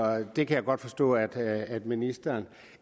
det kan jeg godt forstå at at ministeren